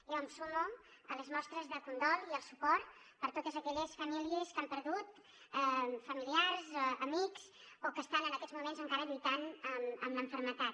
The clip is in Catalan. jo em sumo a les mostres de condol i al suport per a totes aquelles famílies que han perdut familiars amics o que estan en aquests moments encara lluitant amb la malaltia